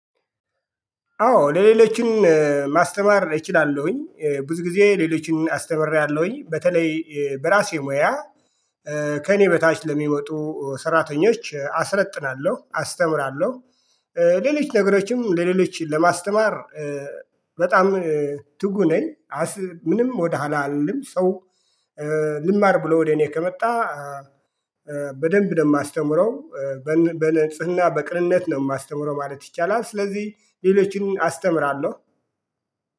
አዎ ለሌሎችም ማስተማር እችላለሁኝ ብዙ ጊዜ ሌሎችን አስተምሬያለሁኝ በተለይ በራሴ ሙያ ከእኔ በታች ለሚመጡ ሰራተኞች አስለጥናለሁ አስተምራለሁ። ሌሎች ነገሮችም ለሌሎች ለማስተማር በጣም ትጉ ነኝ። ምንም ወደ ኋላ አልልም ሰው ልማር ብሎ ወደ እኔ ከመጣ። በደንብ ነው የማስተምረው በንጽህና በቅንነት ነው የማስተምረው ማለት ይቻላል። ስለዚህ ሌሎችን አስተምራለሁ